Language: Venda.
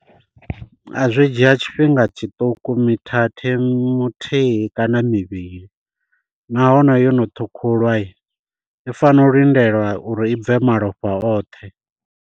A zwi dzhia tshifhinga tshiṱuku mithathe muthihi kana mivhili, nahone yono ṱhukhulwa i fanela u lindelwa uri i bve malofha oṱhe.